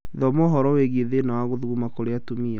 Thoma ũhoro wĩgiĩ thĩna wa gũthuguma kĩrũ atumia